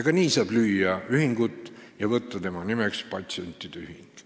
Ka nii saab ühingut luua ja panna tema nimeks patsientide ühing.